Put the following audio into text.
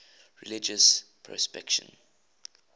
religious persecution